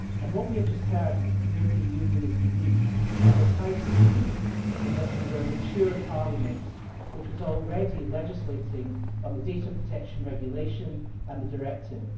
And what we have just heard is that the European Union is unique, and this House is unique in that we were a mature Parliament which was already legislating on the data protection regulation and the directive.